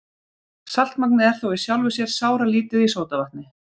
Saltmagnið er þó í sjálfu sér sáralítið í sódavatni.